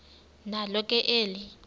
nalo ke eli